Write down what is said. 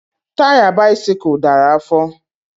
Taya bisikul dara afọ